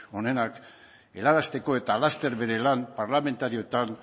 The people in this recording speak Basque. onenak helarazteko eta laster bere lan parlamentarioetan